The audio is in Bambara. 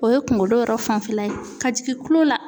O ye kunkolo yɛrɛ fanfɛla ye ka jigin kulo la.